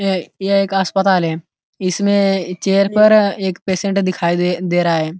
ये ये एक अस्पताल है इसमें चेयर पर एक पेशेंट दिखाई दे दे रहा है।